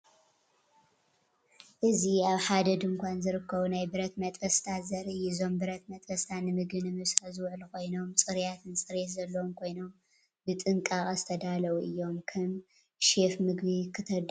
እዚ ኣብ ሓደ ድኳን ዝርከቡ ናይ ብረት መጥበስታት ዘርኢ እዩ። እዞም ብረት መጥበስታት ንምግቢ ንምብሳል ዝውዕሉ ኮይኖም፡ ጽሩያትን ጽሬትን ዘለዎም ኮይኖም ብጥንቃቐ ዝተዳለዉ እዮም። ከም ሼፍ ምግቢ ክተዳሉ ኣየናይ ዓይነት መሳርሒ ምመረጽካ?